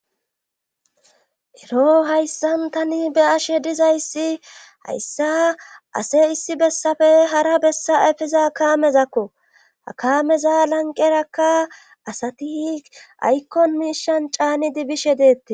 ero hayssan tani be ashe dizayssi hayssa ase issi bessafe hara bessa efeza kaamezakko ha kameza lanqerakka asati aykkon miishan caani dibishe deetti